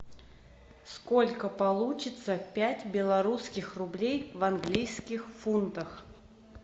сколько получится пять белорусских рублей в английских фунтах